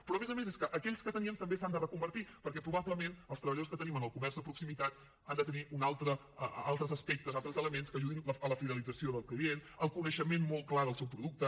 però a més a més és que aquells que teníem també s’han de reconvertir perquè probablement els treballadors que tenim en el comerç de proximitat han de tenir altres aspectes altres elements que ajudin a la fidelització del client al coneixement molt clar del seu producte